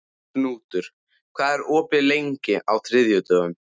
Knútur, hvað er opið lengi á þriðjudaginn?